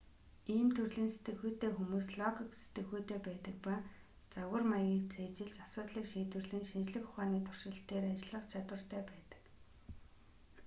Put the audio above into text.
ийм төрлийн сэтгэхүйтэй хүмүүс логик сэтгэхүйтэй байдаг ба загвар маягийг цээжилж асуудлыг шийдвэрлэн шинжлэх ухааны туршилт дээр ажиллах чадвартай байдаг